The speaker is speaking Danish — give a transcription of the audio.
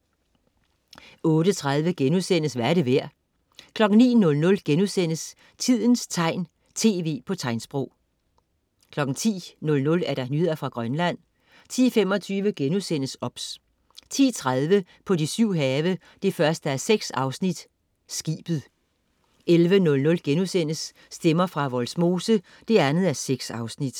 08.30 Hvad er det værd?* 09.00 Tidens tegn, tv på tegnsprog* 10.00 Nyheder fra Grønland 10.25 OBS* 10.30 På de syv have 1:6. Skibet 11.00 Stemmer fra Vollsmose 2:6*